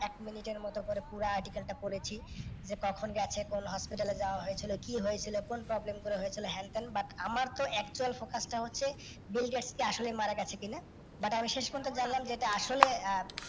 এক মিনিটের মতো করে পুরো article টা পরেছি, দিয়ে তখন কোন hospital এ যাওয়া হয়েছিল, কি হয়েছিল, কোন problem গুলো হয়েছিল, হেন তেন but আমার তো একটাই focus টা হচ্ছে Bill Gates আসলেই মারা গেছে কিনা। But আমি শেষ পর্যন্ত জানলাম এটা আসলে আহ